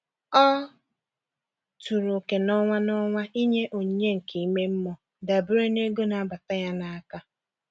Ọ tụrụ oke n'ọnwa n'ọnwa ịnye onyinye nke ime mmụọ dabere na ego na-abata ya n'aka.